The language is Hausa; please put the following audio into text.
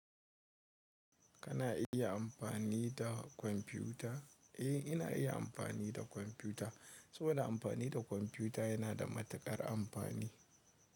Kana iya amfani da kwamfiyuta? Eh, ina iya amfani da kwamfiyuta. Saboda amfani da kwamfiyuta yana da matuƙar amfani.